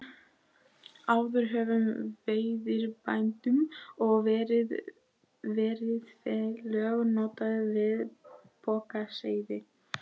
Áður höfðu veiðibændur og veiðifélög notast við pokaseiði.